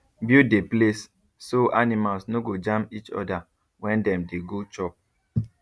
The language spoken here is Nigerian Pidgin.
build the place so animals no go jam each other when dem dey go chop